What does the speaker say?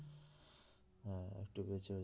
হ্যাঁ একটু বেঁচেও